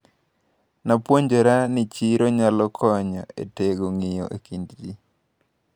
Napuonjra ni chiro nyalo konyo etego ng`iyo ekind ji.